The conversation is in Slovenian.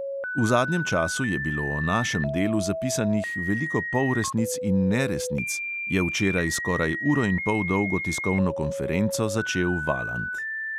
"V zadnjem času je bilo o našem delu zapisanih veliko polresnic in neresnic," je včeraj skoraj uro in pol dolgo tiskovno konferenco začel valant.